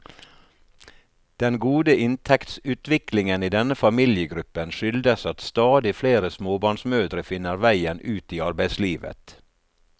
Den gode inntektsutviklingen i denne familiegruppen skyldes at stadig flere småbarnsmødre finner veien ut i arbeidslivet.